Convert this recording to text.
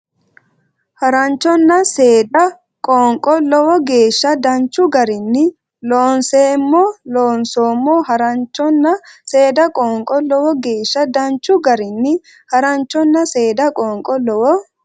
Haranchona Seeda Qoonqo Lowo geeshsha danchu garinni Loonseemmo loonsoommo Haranchona Seeda Qoonqo Lowo geeshsha danchu garinni Haranchona Seeda Qoonqo Lowo.